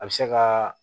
A bɛ se ka